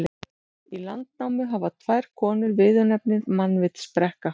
Í Landnámu hafa tvær konur viðurnefnið mannvitsbrekka.